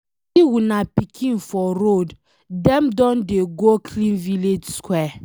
I see una pikin for road, dem don dey go clean village square.